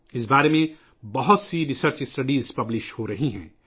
اس بارے میں کئی تحقیقی مطالعات شائع ہو رہے ہیں